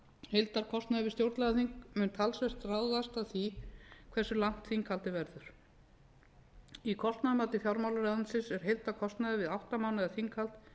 heildarkostnaður við stjórnlagaþing mun talsvert ráðast af því hversu langt þinghaldið verður í kostnaðarmati fjármálaráðuneytisins er heildarkostnaður við átta mánaða þinghald